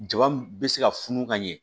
Jaba m bɛ se ka funu ka ɲɛ